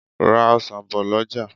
Ra ọsan bò lọjà.